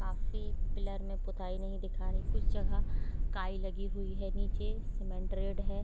काफी पिलर में पोताई नहीं दिखा रही कुछ जगह काई लगी हुई हैनीचे सीमेंट रेड है।